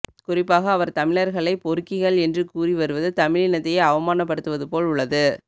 குறிப்பாக அவர் தமிழர்களை பொறுக்கிகள் என்று கூறி வருவது தமிழினத்தையே அவமானப்படுத்துவது போல் உள்ளது